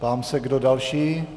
Ptám se, kdo další.